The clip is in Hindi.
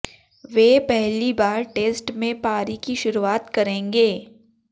वे पहली बार टेस्ट में पारी की शुरुआत करेंगे